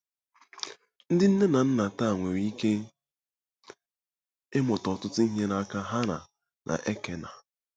Ndị nne na nna taa nwere ike ịmụta ọtụtụ ihe n’aka Hana na Elkena.